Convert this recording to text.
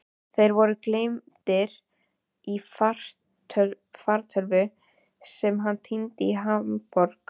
Þeir voru geymdir í fartölvu sem hann týndi í Hamborg.